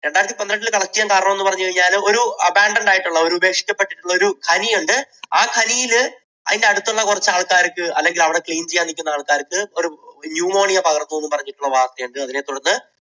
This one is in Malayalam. രണ്ടായിരത്തി പന്ത്രണ്ടിൽ collect ചെയ്യാൻ കാരണം എന്ന് പറഞ്ഞു കഴിഞ്ഞാൽ ഒരു abandoned ആയിട്ടുള്ള ഉപേക്ഷിക്കപ്പെട്ടിട്ടുള്ള ഒരു ഖനി ഉണ്ട്. ആ ഖനിയിൽ അതിൻറെ അടുത്തുള്ള കുറച്ച് ആൾക്കാർക്ക്, അല്ലെങ്കിൽ അവിടെ clean ചെയ്യാൻ നിൽക്കുന്ന ആൾക്കാർക്ക് pneumonia പകർന്നു എന്ന് പറഞ്ഞിട്ടുള്ള വാർത്തയുണ്ട്. അതിനെ തുടർന്ന്